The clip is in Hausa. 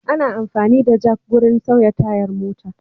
Ana amfani da jak wurin sauya tayar mota.